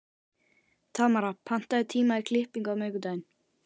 Tamara, pantaðu tíma í klippingu á miðvikudaginn.